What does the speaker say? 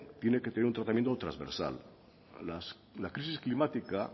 tiene que tener un tratamiento transversal la crisis climática